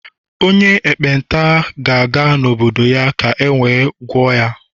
onye ekpenta gāga n'obodo-ya ka ewe ghara igwọ ya